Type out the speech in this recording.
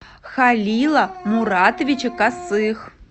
халила муратовича косых